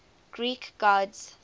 greek gods